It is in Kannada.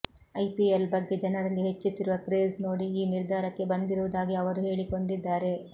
ಐಪಿಎಲ್ ಬಗ್ಗೆ ಜನರಲ್ಲಿ ಹೆಚ್ಚುತ್ತಿರುವ ಕ್ರೇಜ್ ನೋಡಿ ಈ ನಿರ್ಧಾರಕ್ಕೆ ಬಂದಿರುವುದಾಗಿ ಅವರು ಹೇಳಿಕೊಂಡಿದ್ದಾರೆ